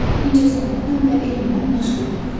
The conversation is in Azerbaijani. İncəsənətlə və elmlə məşğul olur.